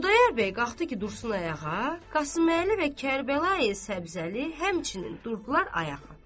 Xudayar bəy qalxdı ki, dursun ayağa, Qasıməli və Kərbəlayı Səbzəli həmçinin durdular ayağa.